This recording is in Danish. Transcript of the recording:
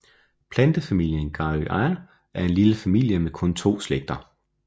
Plantefamilien Garryaceae er en lille familie med kun to slægter